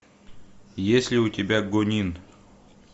есть ли у тебя гонин